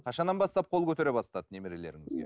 қашаннан бастап қол көтере бастады немерелеріңізге